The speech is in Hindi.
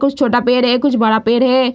कुछ छोटा पेड़ है कुछ बड़ा पेड़ है।